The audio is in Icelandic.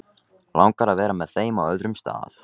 Langar að vera með þeim á öðrum stað.